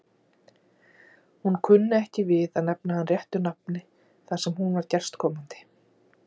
Hún kunni ekki við að nefna hann réttu nafni þar sem hún var gestkomandi.